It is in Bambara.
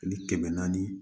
Ani kɛmɛ naani